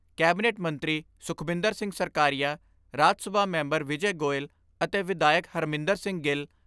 Cabinet ਮੰਤਰੀ Sukhbinder Singh Sarkaria, Rajya Sabha member Vijay Goel, ਅਤੇ ਵਿਧਾਇਕ ਹਰਮਿੰਦਰ ਸਿੰਘ ਗਿੱਲ, ਡਾ.